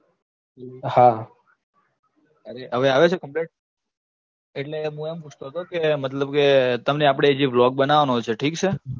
હા, અરે હવે આવે છે complete? એટલે હું એમ પૂછતો તો કે મતલબ કે તમને આપડે જે blog બનાવવાનો છે, ઠીક છે